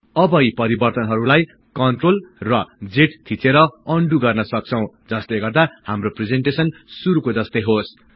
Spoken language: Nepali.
अब यी परिवर्तनहरुलाई CTRL र Z थिचेर अनडु गर्न सक्छौं जसले गर्दा हाम्रो प्रिजेन्टेसन शुरुको जस्तै होस्